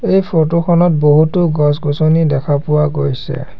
এই ফটো খনত বহুতো গছ-গছনি দেখা পোৱা গৈছে।